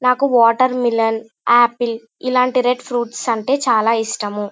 నాకు watermelon apple ఇలాంటివి red fruits అంటే చాల ఇష్టము.